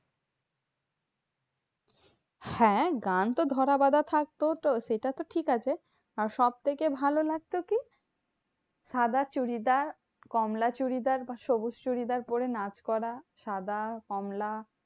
হ্যাঁ গান তো ধরাবাধা থাকতো সেটা তো ঠিক আছে। আর সব থেকে ভালো লাগতো কি? সাদা চুড়িদার কমলা চুড়িদার বা সবুজ চুরিদার পরে নাচ করা। সাদা, কমলা,